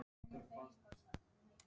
Þú hlýtur að halda að ég sé alger.